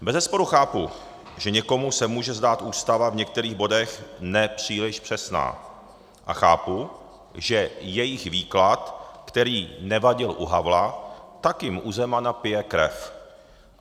Bezesporu chápu, že někomu se může zdát Ústava v některých bodech nepříliš přesná, a chápu, že její výklad, který nevadil u Havla, tak jim u Zemana pije krev.